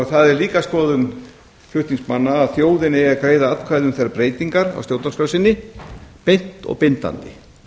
það er líka skoðun flutningsmanna að þjóðin eigi að greiða atkvæði um þær breytingar á stjórnarskrá sinni beint og bindandi